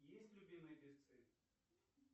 есть любимые певцы